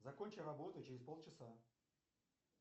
закончи работу через полчаса